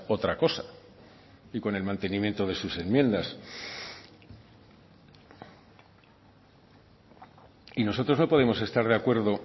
otra cosa y con el mantenimiento de sus enmiendas y nosotros no podemos estar de acuerdo